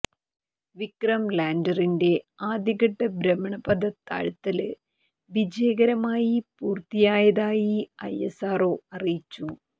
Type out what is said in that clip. വിക്രം ലാന്ഡറിന്റെ ആദ്യ ഘട്ട ഭ്രമണപഥ താഴ്ത്തല് വിജയകരമായി പൂര്ത്തിയായതായി ഐഎസ്ആര്ഒ അറിയിച്ചു